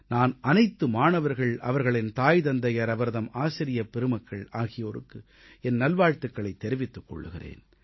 நான் அனைத்து மாணவர்கள் அவர்களின் தாய் தந்தையர் அவர்தம் ஆசிரியப் பெருமக்கள் ஆகியோருக்கு என் நல்வாழ்த்துக்களைத் தெரிவித்துக் கொள்கிறேன்